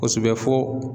Kosɛbɛ fo